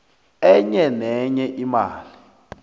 enye nenye imali